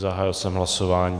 Zahájil jsem hlasování.